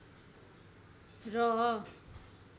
र